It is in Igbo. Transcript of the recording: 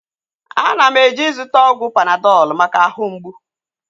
Ana m eje ịzụta ọgwụ Panadọl maka ahụ mgbụ